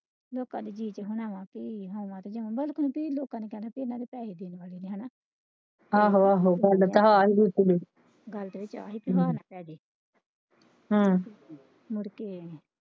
ਲੋਕਾਂ ਨੇ ਗੀਤ ਬਣਾਉਣਾ ਸੀ ਲੋਕਾਂ ਨੇ ਕਹਿਣਾ ਕਿ ਇਹਨਾਂ ਦੀ ਭੈੜੀ ਜੁਬਾਨ ਹੈਨਾ ਹਮ ਮੁੜਕੇ।